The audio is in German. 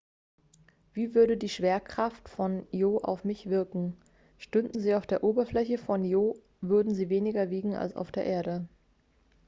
wie würde die schwerkraft von io auf mich wirken stünden sie auf der oberfläche von io würden sie weniger wiegen als auf der erde